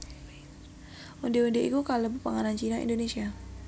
Ondhé ondhé iku kalebu panganan Cina Indonésia